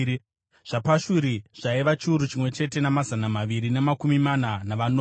zvaPashuri zvaiva chiuru chimwe chete namazana maviri namakumi mana navanomwe;